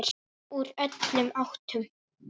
Úr öllum áttum.